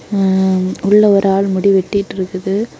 ம்ம் உள்ள ஒரு ஆள் முடி வெட்டிட்டு இருக்குது.